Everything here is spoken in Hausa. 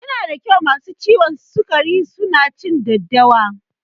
Yana da kyau masu ciwon sikari su na cin daddawa